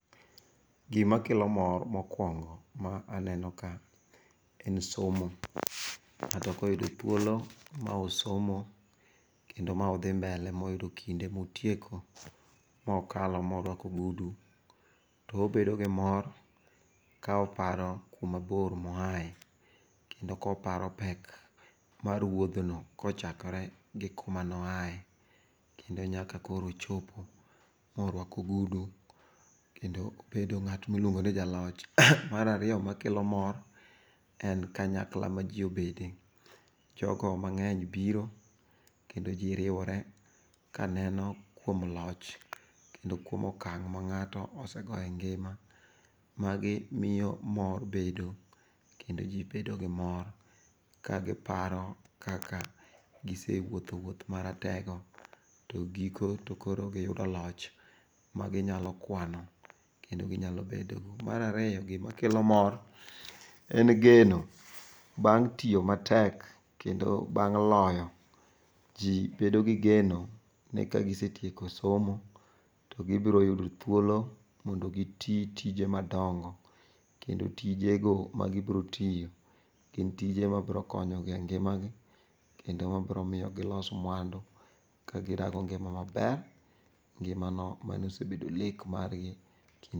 Gima kelo mor mokwongo ma aneno ka en somo. Ng'ato koyudo thuolo ma osomo kedno ma odhi mbele moyudo kinde motieko mokalo morwako ogudu, to obedo gi mor ka oparo kuma bor moae. Kendo koparo pek mar wuodhno kochakore gi kuma noae kendo nyaka koro ochopo morwako ogudu, kendo obedo ng'at miluongo ni jaloch. Marariyo makelo mor, en kanyakla ma ji obede, jogo mang'eny biro kendo ji riwore kaneno kuom loch kendo kuom okang' ma ng'ato osego e ngima. Magi miyo mor bedo kendo ji bedo gi mor kagiparo kaka gisewuotho wuoth maratego to giko to koro giyudo loch, maginyalo kwano kendo ginyalo bedogo. Marariyo, gimakelo mor en geno beng' tiyo matek kendo bang' loyo. Ji bedo gi geno ni kagisetieko somo, to gibiro yudo thuolo mondo giti tije madongo. Kendo tijego ma gibro tiyo gin tije mabro konyogi e ngimagi, kendo mabro miyo gilos mwandu kagirango ngima maber, ngimano manosebedo lek margi. Kin.